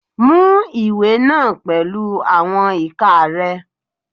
Mú ìwé náà pẹ̀lú àwọn ìka rẹ.